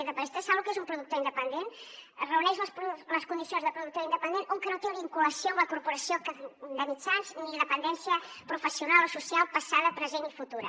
vostès saben lo que és un productor independent reuneix les condicions de productor independent un que no té una vinculació amb la corporació de mitjans ni dependència professional o social passada present i futura